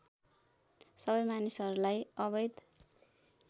सबै मानिसहरूलाई अवैध